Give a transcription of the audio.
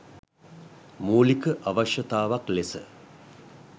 මූලික අවශ්‍යතාවක් ලෙස